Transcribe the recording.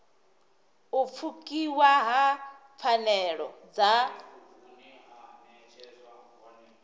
u pfukiwa ha pfanelo dza